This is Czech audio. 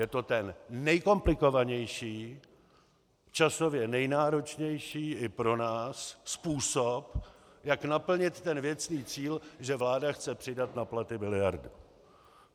Je to ten nejkomplikovanější, časově nejnáročnější i pro nás způsob, jak naplnit ten věcný cíl, že vláda chce přidat na platy miliardu.